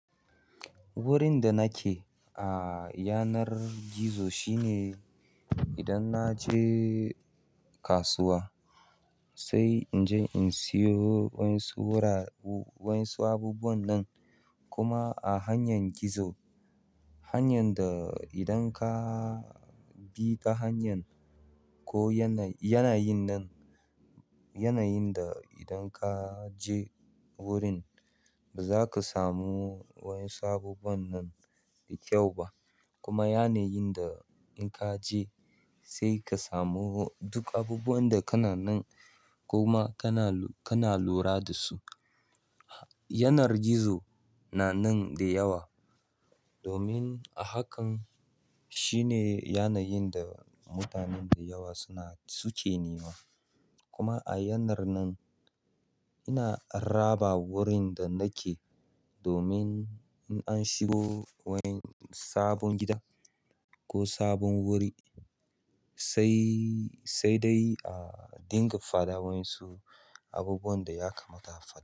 Wurin da nake a yanar gizo shine idan na je kasuwa sai in je in siyo wayan su wurare wayan su abubuwan nan kuma a hanyar gizo. Hanyan da idan ka bi ta hanyar ko yanayi, yanayi nan, yanayin da idan ka je wurin ba za ka samu wa 'yan su abubwan nan da kyau ba kuma yanayin da in ka je sai ka samu duk abubuwan da kana nan kuma kana, kana lura da su. Yanar gizo na nan da yawa domin a hakan shine yanayin da mutanen da yawa suna, suke nema. Kuma a yanar nan ina raba wurin da nake domin in an shigo wani sabon gida ko sabon wuri sai, sai dai a dinga faɗa wayan su abubuwan da ya kamata a faɗa.